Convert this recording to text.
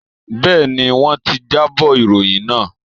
Bẹ́ẹ̀ni, wọ́n ti jábọ̀ ìròyìn lánàá